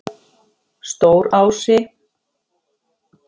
Stórási